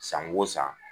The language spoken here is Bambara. San o san